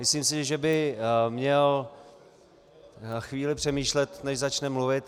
Myslím si, že by měl chvíli přemýšlet, než začne mluvit.